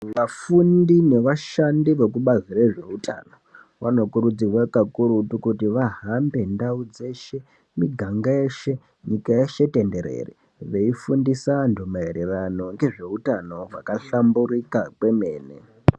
Vafundi nevashandi vekubazi rezveutano vanokurudzirwa kakurutu kuti vahambe ndau dzeshe , miganga yeshe , nyika yeshe tenderere veifundisa vantu maererano nezveutano wakahlamburika kwemene.